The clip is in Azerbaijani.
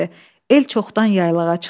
El çoxdan yaylağa çıxmışdı.